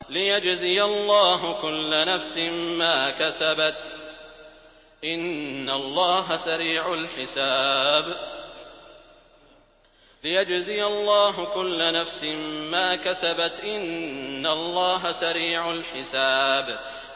لِيَجْزِيَ اللَّهُ كُلَّ نَفْسٍ مَّا كَسَبَتْ ۚ إِنَّ اللَّهَ سَرِيعُ الْحِسَابِ